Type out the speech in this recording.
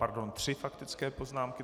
Pardon, tři faktické poznámky.